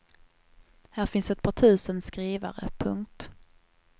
Här fanns ett par tusen skrivare. punkt